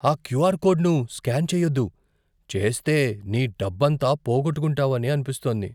ఆ క్యూఆర్ కోడ్ను స్కాన్ చేయొద్దు. చేస్తే, నీ డబ్బంతా పోగొట్టుకుంటావని అనిపిస్తోంది.